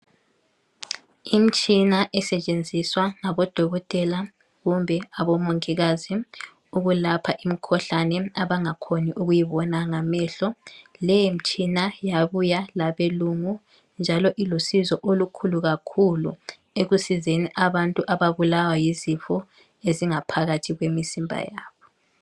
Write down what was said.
Imtshina esetshenziswa ngabodokotela kumbe abomongikazi ukulapha imikhuhlane abangakhoni ukuyibona ngamehlo. Leyi mtshina yabuya labelungu njalo ilusizo olukhulu kakhulu ekusizeni abantu ababulawa yizifo ezingaphakathi kwemizimba yabo.